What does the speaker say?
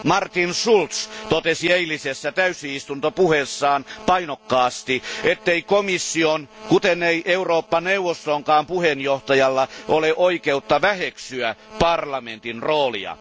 Martin Schultz totesi eilisessä täysistuntopuheessaan painokkaasti, ettei komission kuten ei Eurooppa neuvostonkaan puheenjohtajalla ole oikeutta väheksyä parlamentin roolia.